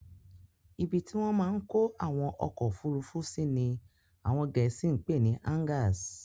Ibi tí wọ́n máa n kó àwọn ọkọ̀ ofurufu sí ní àwọn gẹ̀ẹ́sì pè ni "Hangars"